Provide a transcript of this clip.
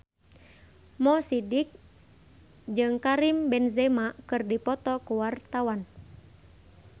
Mo Sidik jeung Karim Benzema keur dipoto ku wartawan